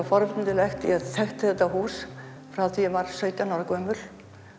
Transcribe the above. forvitnilegt ég þekkti þetta hús frá því ég var sautján ára gömul